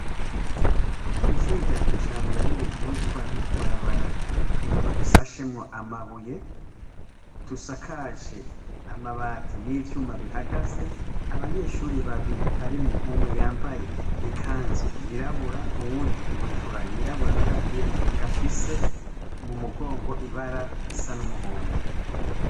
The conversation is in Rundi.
Ishure rya kijambere rihuzwa n'utubarabara dufashemwo amabuye, dusakaje amabati n'ivyuma bihagaze, abanyeshure babiri harimwo umwe yambaye ikanzu y'irabura, uwundi ibutura y'irabura n'agapira gafise m'umugongo ibara risa n'umuhondo.